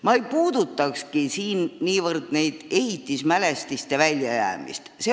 Ma ei puudutakski siin niivõrd ehitismälestiste väljajäämist.